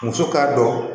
Muso k'a dɔn